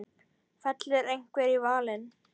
Fellur einhver í valinn?